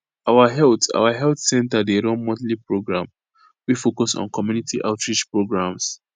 our health our health center dey run monthly program wey focus on community outreach programs